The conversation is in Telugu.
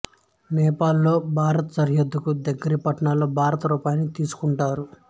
నేపాల్ లో భారత్ సరిహద్దుకు దగ్గరి పట్టణాల్లో భారత రూపాయిని తీసుకుంటారు